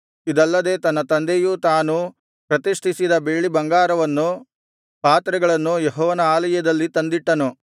ಇದಲ್ಲದೆ ತನ್ನ ತಂದೆಯೂ ತಾನೂ ಪ್ರತಿಷ್ಠಿಸಿದ ಬೆಳ್ಳಿ ಬಂಗಾರವನ್ನು ಪಾತ್ರೆಗಳನ್ನೂ ಯೆಹೋವನ ಆಲಯದಲ್ಲಿ ತಂದಿಟ್ಟನು